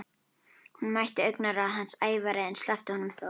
Hún mætti augnaráði hans, ævareið, en sleppti honum þó.